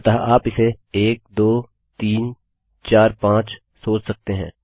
अतः आप इसे एक दो तीन चार पाँच सोच सकते हैं